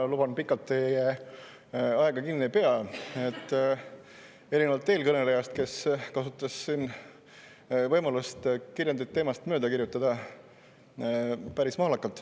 Ma luban, et pikalt teid kinni ei pea ega aega, erinevalt eelkõnelejast, kes kasutas siin võimalust, et kirjand päris mahlakalt teemast mööda kirjutada.